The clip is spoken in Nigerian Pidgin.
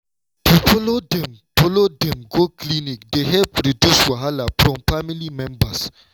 to follow dem follow dem go clinic dey help reduce wahala from family members.